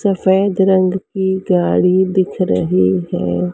सफेद रंग की गाड़ी दिख रही है।